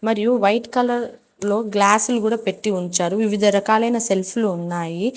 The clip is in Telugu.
మరియు వైట్ కలర్ లో గ్లాసులు కూడా పెట్టి ఉంచారు వివిధరకాలైన సెల్ఫ్ లు ఉన్నాయి.